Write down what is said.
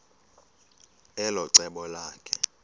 elo cebo lakhe